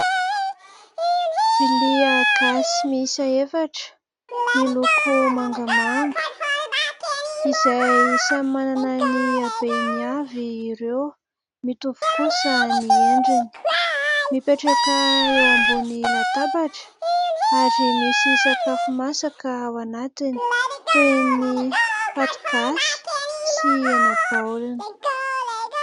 Vilia gasy mihisa efatra miloko mangamanga izay samy manana ny abehany avy ireo mitovy kosa ny endriny mipetraka eo ambon'ny latabatra ary misy sakafo masaka ao anatiny toy ny paty gasy sy ny hena-baolina.